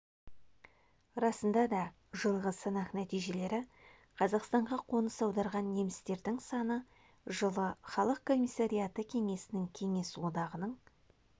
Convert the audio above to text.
расында да жылғы санақ нәтижелері қазақстанға қоныс аударған немістердің саны жылы халық комиссариаты кеңесінің кеңес одағының